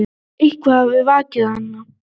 Eitthvað hafði vakið hann.